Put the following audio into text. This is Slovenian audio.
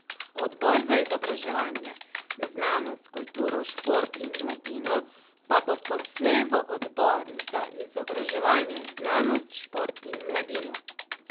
Odbor za izobraževanje, znanost, kulturo, šport in mladino pa bo poslej v odbor za izobraževanje, znanost, šport in mladino.